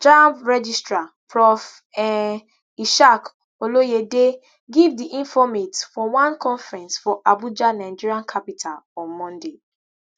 jamb registrar prof um ishaq oloyede give di informate for one conference for abuja nigeria capital on monday